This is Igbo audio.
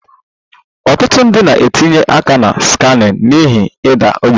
Ọtụtụ ndị na-etinye aka na scamming n'ihi ịda ogbenye